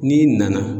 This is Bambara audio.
N'i nana